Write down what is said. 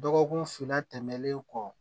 Dɔgɔkun fila tɛmɛnen kɔ